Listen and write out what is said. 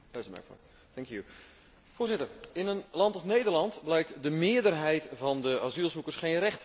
Voorzitter, in een land als Nederland blijkt de meerderheid van de asielzoekers geen recht te hebben op een vluchtelingenstatus.